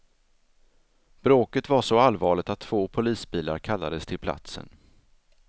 Bråket var så allvarligt att två polisbilar kallades till platsen.